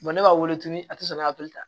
ne b'a wele tuguni a tɛ sɔn ne hakili ta